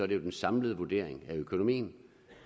det jo den samlede vurdering af økonomien